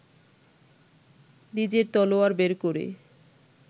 নিজের তলোয়ার বের করে